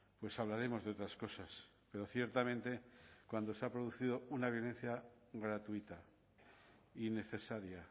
pues hablaremos de otras cosas pero ciertamente cuando se ha producido una violencia gratuita innecesaria